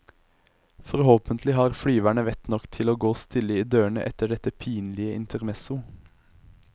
Forhåpentlig har flyverne vett nok til å gå stille i dørene etter dette pinlige intermesso.